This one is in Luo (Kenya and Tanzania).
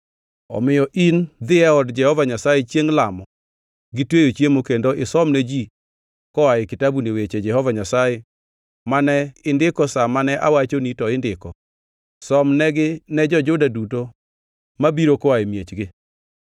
Omiyo in dhi e od Jehova Nyasaye chiengʼ lamo gi tweyo chiemo kendo isomne ji koa e kitabuni weche Jehova Nyasaye mane indiko sa mane awachoni to indiko. Somnegi ne jo-Juda duto ma biro koa e miechgi.